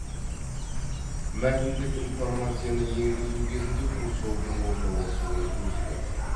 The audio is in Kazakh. мәтіндік информацияны енгізу кезінде курсордың орналасуын өзгерту